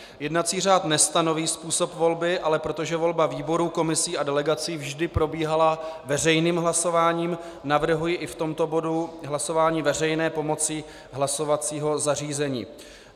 Jednací řád nestanoví způsob volby, ale protože volba výborů, komisí a delegací vždy probíhala veřejným hlasováním, navrhuji i v tomto bodu hlasování veřejné pomocí hlasovacího zařízení.